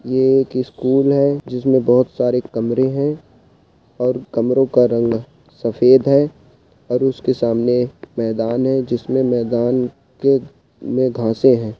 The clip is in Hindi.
ये एक स्कूल है जिसमें बहुत सारे कमरे हैं और कमरों का रंग सफेद है और उसके सामने मैदान है जिसमे मैदान के में हैं।